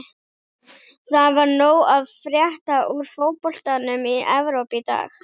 Það var nóg að frétta úr fótboltanum í Evrópu í dag.